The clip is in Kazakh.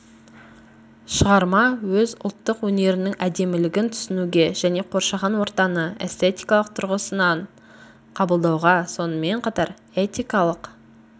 шығарма өз ұлттық өнерінің әдемілігін түсінуге және қоршаған ортаны эстетикалық тұрғысынан қабылдауға сонымен қатар этикалық